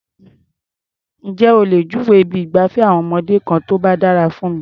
Ǹjé o lè júwèé ibi ìgbafẹ́ àwọn ọmọdé kan tó dára fún mi?